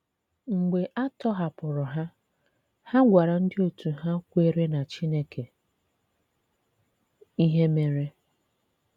Mgbe a tọ̀hapụrụ̀ ha, ha gwàrà ndị otú hà kwèré na Chineke ihe mèrè.